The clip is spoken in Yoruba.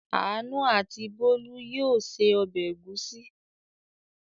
Àánú and Bólú yóò se ọbẹ̀ ẹ̀gúsí!